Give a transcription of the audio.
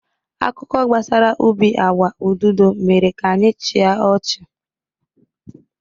Akụkọ gbasara ubi agwa ududo mere ka anyị chịa ọchị